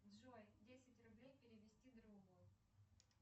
джой десять рублей перевести другу